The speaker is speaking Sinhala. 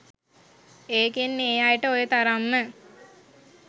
ඒකෙන් ඒ අයට ඔය තරම්ම